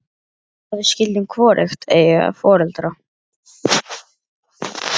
Að við skyldum hvorugt eiga foreldra.